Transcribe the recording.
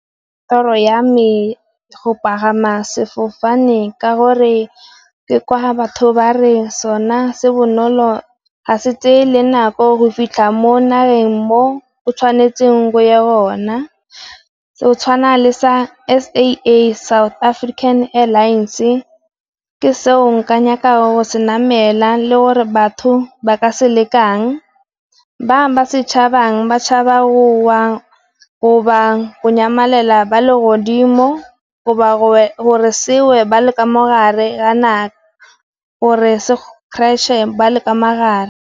Toro ya me go pagama sefofane ka gore ke kwa ga batho ba re sona se bonolo ga se tse le nako go fitlha mo nageng mo o tshwanetseng go ya gona. Go tshwana le sa S_A_A, South African Airlines ke seo nka nnyaka go se namela le gore batho ba ka se lekang. Ba ba setšhabang ba tšhabang gowa goba nyamelela ba le godimo, goba ba gore se we ba le ka mogare kana gore se crush-e ba le ka mogare.